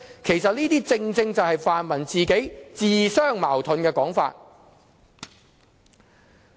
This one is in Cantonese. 其實，這些正是泛民自相矛盾的說法。